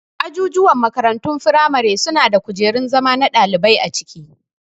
Ajujuwan makarantun firamare suna da kujerun zama na ɗalibai a ciki